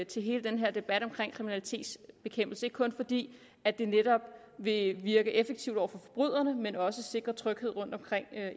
til hele den her debat om kriminalitetsbekæmpelse ikke kun fordi det netop vil virke effektivt over for forbryderne men også sikre tryghed rundtomkring